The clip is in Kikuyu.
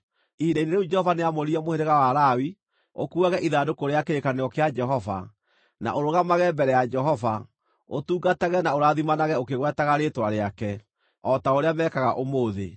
Ihinda-inĩ rĩu Jehova nĩamũrire mũhĩrĩga wa Lawi ũkuuage ithandũkũ rĩa kĩrĩkanĩro kĩa Jehova, na ũrũgamage mbere ya Jehova, ũtungatage na ũrathimanage ũkĩgwetaga rĩĩtwa rĩake, o ta ũrĩa meekaga ũmũthĩ.